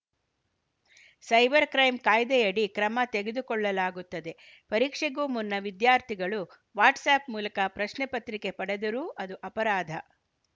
cyber crime ಕಾಯ್ದೆಯಡಿ ಕ್ರಮ ತೆಗೆದುಕೊಳ್ಳಲಾಗುತ್ತದೆ ಪರೀಕ್ಷೆಗೂ ಮುನ್ನ ವಿದ್ಯಾರ್ಥಿಗಳು ವಾಟ್ಸ್‌ ಆ್ಯಪ್‌ ಮೂಲಕ ಪ್ರಶ್ನೆ ಪತ್ರಿಕೆ ಪಡೆದರೂ ಅದು ಅಪರಾಧ